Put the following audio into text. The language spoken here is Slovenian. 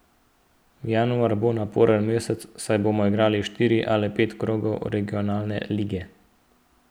Januar bo naporen mesec, saj bomo igrali štiri ali pet krogov Regionalne lige.